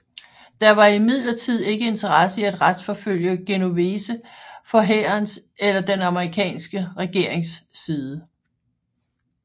Der var imidlertid ikke interesse i at retsforfølge Genovese fra hærens eller den amerikanske regerings side